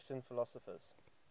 christian philosophers